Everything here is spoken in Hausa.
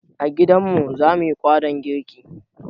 A gidanmu zamuyi kwaɗon girji